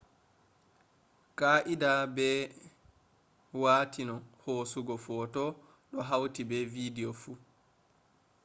kaa’idaa be watini hosugo photo do hauti be video fu